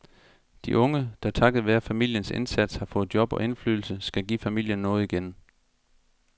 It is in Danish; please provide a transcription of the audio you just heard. De unge, der takket være familiens indsats har fået job og indflydelse, skal give familien noget igen.